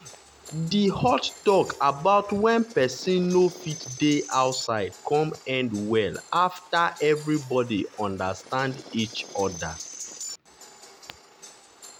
di hot talk about when person no fit dey outside come end well after everybody understand each other.